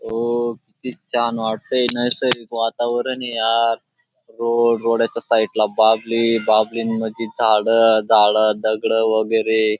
road किती छान वाटतंय नैसर्गिक वातावरण ये यार रोड रोडा च्या साईड ला बाभळी बाभळीं मध्ये झाड झाड दगडं वगैरे --